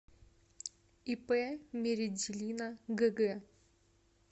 ип меределина гг